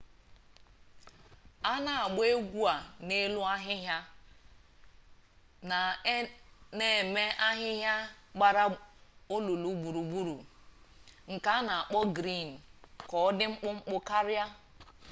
a na-agba egwuregwu a n'elu ahịhịa na a na-eme ahịhịa gbara olulu gburugburu nke a na-akpọ griin ka ọ dị mkpụmkpụ karịa